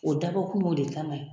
O dabɔkun y'o de kama ye.